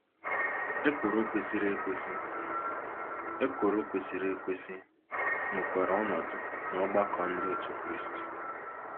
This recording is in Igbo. Ekworo kwesịrị ekwesị Ekworo kwesịrị ekwesị nwekwara ọnọdụ n'ọgbakọ Ndị Otú Kristi.